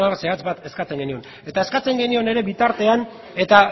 zehatz bat eskatzen genion eta eskatzen genion ere bitartean eta